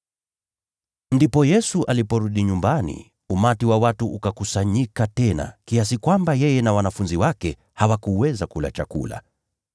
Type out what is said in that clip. Kisha Yesu aliporudi nyumbani, umati wa watu ukakusanyika tena, kiasi kwamba yeye na wanafunzi wake hawakuweza kula chakula.